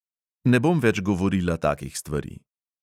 Ne bom več govorila takih stvari.